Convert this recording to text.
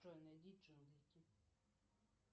джой найди джанглики